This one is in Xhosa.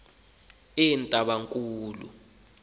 entabankulu